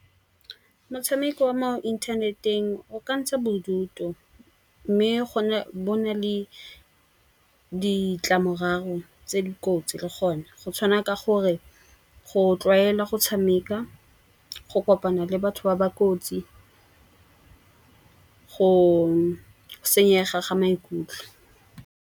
Motshameko wa mo inthaneteng o ka ntsha bodutu. Mme bo na le ditlamorago tse dikotsi le gone. Go tshwana ka gore go tlwaela go tshameka, go kopana le batho ba ba kotsi, go senyega ga maikutlo.